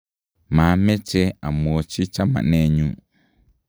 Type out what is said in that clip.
mameche amwochi chamanenyu